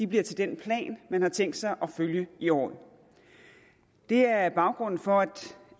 bliver til den plan man har tænkt sig at følge i året det er baggrunden for